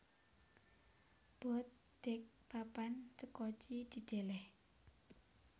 Boat Deck papan sekoci didèlèh